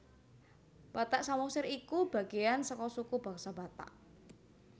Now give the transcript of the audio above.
Batak Samosir iku bagéyan saka suku bangsa Batak